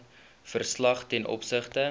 verslag ten opsigte